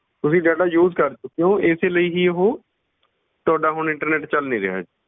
ਤੁਸੀਂ data use ਕਰ ਚੁੱਕੇ ਹੋ, ਇਸੇ ਲਈ ਹੀ ਉਹ ਤੁਹਾਡਾ ਹੁਣ internet ਚੱਲ ਨੀ ਰਿਹਾ ਹੈ।